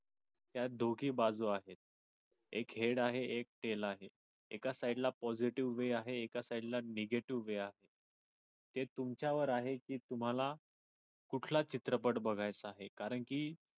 त्या दोघी बाजू आहेत एक head आहे एक tail आहे एका side ला positive way आहे एका side ला negative way आहे हे तुमच्यावर आहे कि तुम्हाला कुठला चित्रपट बघायचा आहे कारण कि